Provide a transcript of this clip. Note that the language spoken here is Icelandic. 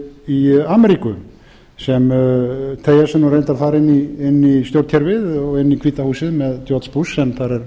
í ameríku sem teygja sig nú reyndar þar inn í stjórnkerfið og inn í hvíta húsið með george bush sem þar er